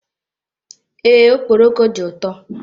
Ee, okpọroko dị ụtọ.